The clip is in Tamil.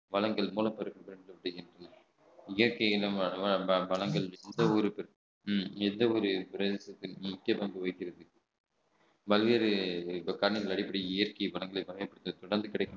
வளங்கள் மூலம் பெறுகின்றன இயற்கை இனமான வளங்கள் எந்த ஊருக்கும் எந்த ஒரு பிரதேசத்தில் முக்கிய பங்கு வகிக்கிறது பல்வேறு காரணங்கள் அடிப்படையில் இயற்கை வளங்களை பயன்படுத்தும்